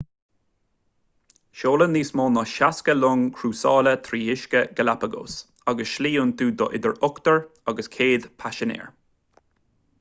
seolann níos mó ná 60 long chrúsála trí uiscí galapagos agus slí iontu do idir ochtar agus 100 paisinéir